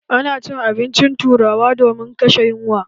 A na cin abincin turawa domin kashe yunwa.